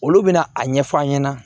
Olu bɛna a ɲɛf'an ɲɛna